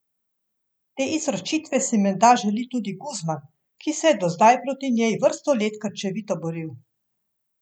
Te izročitve si menda želi tudi Guzman, ki se je do zdaj proti njej vrsto let krčevito boril.